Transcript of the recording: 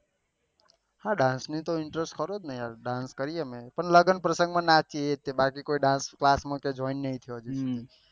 હા ડાન્સ ની તો interest ખરો ને યાર ડાન્સ કરીએ અમે પણ લગન પ્રસંગ માં નાચીએ એ તે બાકી કોઈ ડાન્સ ક્લાસ માં તો જોઈન નહી થયો અજી